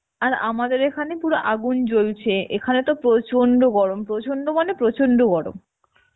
আর আমাদের এখানে পুরো আগুন জ্বলছে এখানে তো প্রচন্ড গরম প্রচন্ড মানে প্রচন্ড গরম